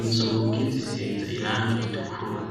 inzugi zisize irangi ritukura.